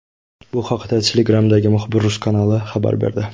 Bu haqda Telegram’dagi Muxbir.uz kanali xabar berdi .